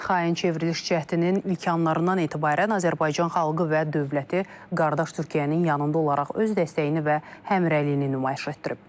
Xain çevriliş cəhdinin ilk anlarından etibarən Azərbaycan xalqı və dövləti qardaş Türkiyənin yanında olaraq öz dəstəyini və həmrəyliyini nümayiş etdirib.